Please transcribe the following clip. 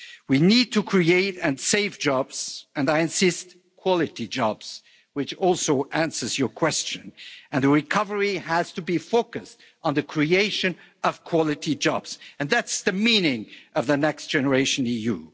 We need to create and save jobs and, I insist, quality jobs which also answers your question, and the recovery has to be focused on the creation of quality jobs, and that's the meaning of the Next Generation EU.